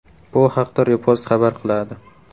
Bu haqda Repost xabar qiladi .